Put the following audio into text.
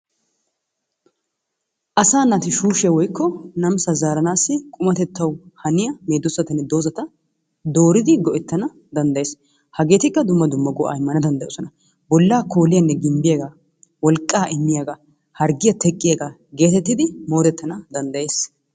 Asaa naati shushiya woykko namisaa zaaranaasi qummatettawu haniya medoosatanne dozzata dooridi go'ettana dandayees. Hageetikka dumma dumma go'aa immana danddayoosona. bolaa kooliyanne gimbbiyagaa, wolqaa immiyagaa harggiya teqqiyagaa geetettidi moodetana danddayetees.